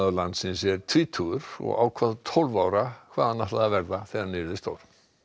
landsins er tvítugur og ákvað tólf ára hvað hann ætlaði að verða þegar hann yrði stór